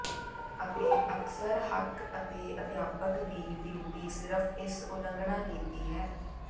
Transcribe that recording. ਅਤੇ ਅਕਸਰ ਹੱਕ ਅਤੇ ਅਧਿਆਪਕ ਦੀ ਡਿਊਟੀ ਸਿਰਫ਼ ਇਸ ਉਲੰਘਣਾ ਕੀਤੀ ਹੈ